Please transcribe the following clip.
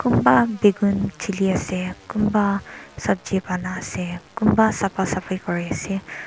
kunba bangun chili ase kunba sabji banai ase kunba safa safi kuri ase.